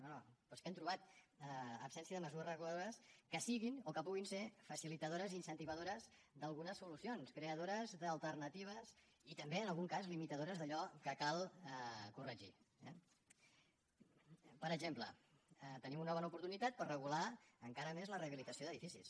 no no però és que hem trobat absència de mesures reguladores que siguin o que puguin ser facilitadores i incentivadores d’algunes solucions creadores d’alternatives i també en algun cas limitadores d’allò que cal corregir eh per exemple tenim una bona oportunitat per regular encara més la rehabilitació d’edificis